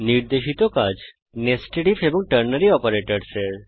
নির্দেশিত কাজ nested IF এবং টার্নারি অপারেটরসহ এর